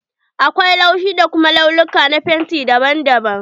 Akwai laushi da kuma launuka na fenti daban daban.